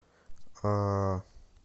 а